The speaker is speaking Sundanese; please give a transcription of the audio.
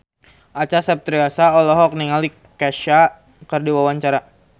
Acha Septriasa olohok ningali Kesha keur diwawancara